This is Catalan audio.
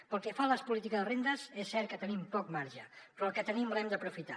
pel que fa a les polítiques de rendes és cert que tenim poc marge però el que tenim l’hem d’aprofitar